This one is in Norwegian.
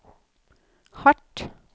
hardt